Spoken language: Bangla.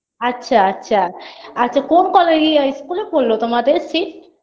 আচ্ছা আচ্ছা আচ্ছা কোন কলে ইয়ে school -এ পড়লো তোমাদের seat